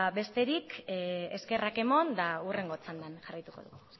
besterik eskerrak eman eta hurrengo txandan jarraituko dugu